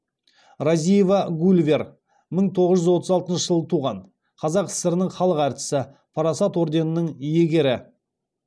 разиева гульвер мың тоғыз жүз отыз алтыншы жылы туған қазақ сср інің халық әртісі парасат орденінің иегері